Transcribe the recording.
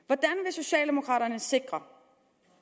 socialdemokraterne sikre